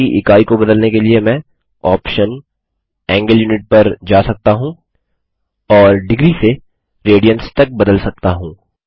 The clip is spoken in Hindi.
कोण की ईकाई को बदलने के लिए मैं ऑप्शन कोण यूनिट पर जा सकता हूँ और डिग्री से रेडियन्स तक बदल सकता हूँ